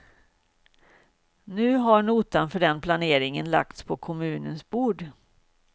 Nu har notan för den planeringen lagts på kommunens bord.